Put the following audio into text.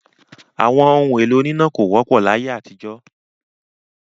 Àwọn ohun-èlò oníná kò wọ́pọ̀ láyé àtijọ́.